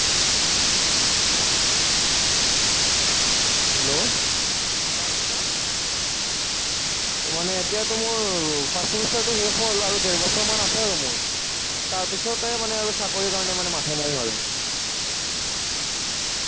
hello! তাৰ পিছত মানে এতিয়াটো মানে মোৰ first semester টো শেষ হ'ল আৰু ডেৰ বছৰমান আছে আৰু মোৰ। তাৰ পিছতে মানে চাকৰিৰ কাৰণে মানে মাথা মাৰিম আৰু